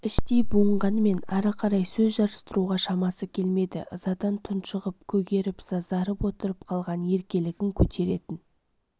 іштей буынғанмен ары қарай сөз жарыстыруға шамасы келмеді ызадан тұншығып көгеріп-сазарып отырып қалған еркелігін көтеретін